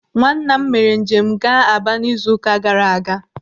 Nwanna m mere njem ga-Aba n'izu ụka gara aga.